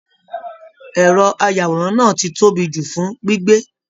Ẹrọ ayàwòrán náà tí tóbi jù fún gbígbé.